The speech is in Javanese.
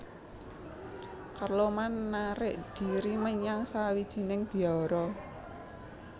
Carloman narik dhiri menyang sawijining biara